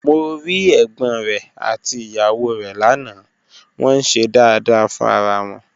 Mo rí ẹ̀gbọ́n rẹ̀ àti ìyàwó rẹ̀ lánàá, wọ́n ń ṣe dáadáa fún ara wọn